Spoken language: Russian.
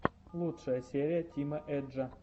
лучшая серия тима эджа